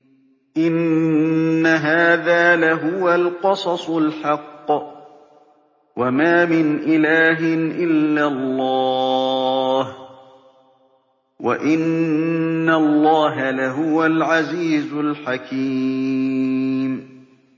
إِنَّ هَٰذَا لَهُوَ الْقَصَصُ الْحَقُّ ۚ وَمَا مِنْ إِلَٰهٍ إِلَّا اللَّهُ ۚ وَإِنَّ اللَّهَ لَهُوَ الْعَزِيزُ الْحَكِيمُ